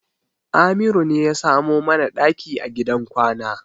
Amiru ne ya samo mana ɗaki a gidan kwana.